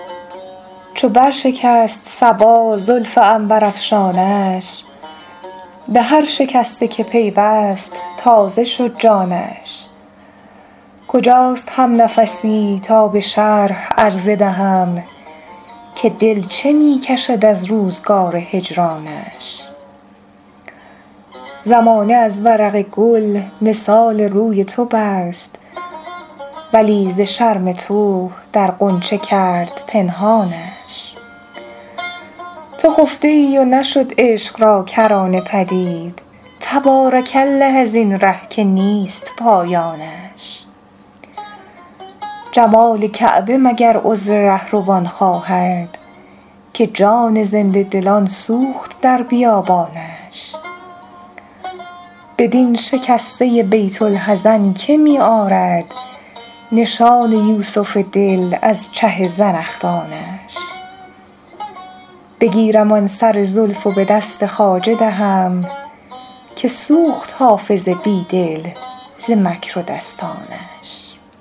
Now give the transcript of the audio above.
چو بر شکست صبا زلف عنبرافشانش به هر شکسته که پیوست تازه شد جانش کجاست همنفسی تا به شرح عرضه دهم که دل چه می کشد از روزگار هجرانش زمانه از ورق گل مثال روی تو بست ولی ز شرم تو در غنچه کرد پنهانش تو خفته ای و نشد عشق را کرانه پدید تبارک الله از این ره که نیست پایانش جمال کعبه مگر عذر رهروان خواهد که جان زنده دلان سوخت در بیابانش بدین شکسته بیت الحزن که می آرد نشان یوسف دل از چه زنخدانش بگیرم آن سر زلف و به دست خواجه دهم که سوخت حافظ بی دل ز مکر و دستانش